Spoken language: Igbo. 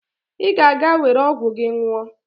Ị ga-aga were ọgwụ gị nwụọ!